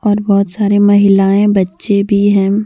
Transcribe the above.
और बहोत सारे महिलाएं बच्चे भी हैं।